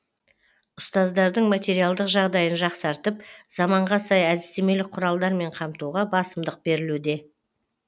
ұстаздардың материалдық жағдайын жақсартып заманға сай әдістемелік құралдармен қамтуға басымдық берілуде